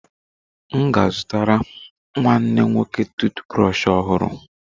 M ga a zụtara nwanne nwoke tụụt brọshị ọhụrụ.